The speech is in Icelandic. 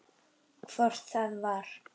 Hvort það var!